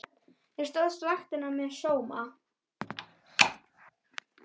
Þú stóðst vaktina með sóma.